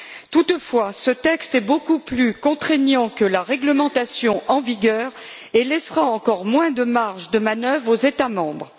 Toutefois, ce texte est beaucoup plus contraignant que la réglementation en vigueur et laissera encore moins de marge de manœuvre aux États membres.